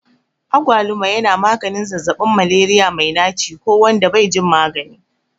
Agwaluma yana maganin zazzabin Malaria mai naci ko wanda bai jin magani.